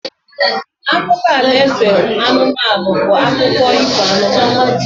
Akụkọ alaeze anụmanụ bụ akụkụ ifo anụmanụ.